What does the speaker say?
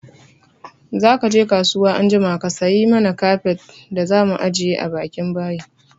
Zaka je kasuwa anjima ka sayi mana kafet da zamu ajiye bakin bayi!